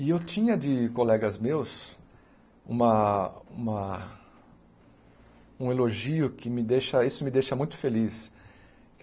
E eu tinha de colegas meus uma uma um elogio que me deixa isso me deixa muito feliz.